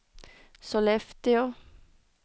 Sollefteå